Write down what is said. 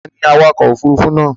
Ta ni awakọ̀ òfurufú náà?